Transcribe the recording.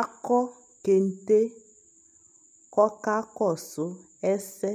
Akɔ kente k'ɔka kɔsʋ ɛsɛ